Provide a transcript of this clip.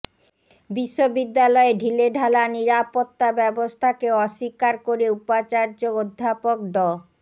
বিশ্ববিদ্যালয়ে ঢিলেঢালা নিরাপত্তা ব্যবস্থাকে অস্বীকার করে উপাচার্য অধ্যাপক ড